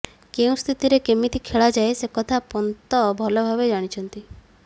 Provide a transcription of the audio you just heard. କେଉଁ ସ୍ଥିତିରେ କେମିତି ଖେଳା ଯାଏ ସେକଥା ପନ୍ତ ଭଲ ଭାବେ ଜାଣିଛନ୍ତି